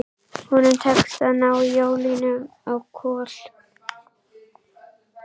Honum tekst að ná í ólina á Kol.